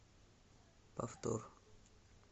повтор